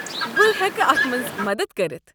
بہٕ ہٮ۪کہٕ اتھ منٛز مدد کٔرتھ ۔